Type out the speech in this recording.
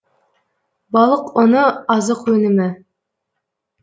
балық ұны азық өнімі